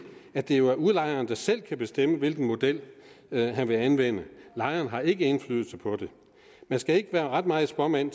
at det jo er udlejeren der selv kan bestemme hvilken model han vil anvende lejerne har ikke indflydelse på det man skal ikke være ret meget spåmand